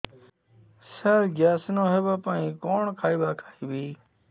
ସାର gas ନ ହେବା ପାଇଁ କଣ ଖାଇବା ଖାଇବି